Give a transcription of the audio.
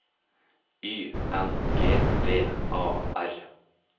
Y N G V A R